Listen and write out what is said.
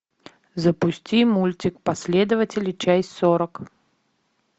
запусти мультик последователи часть сорок